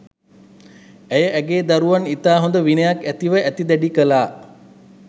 ඇය ඇයගේ දරුවන් ඉතා හොඳ විනයක් ඇතිව ඇති දැඩි කලා.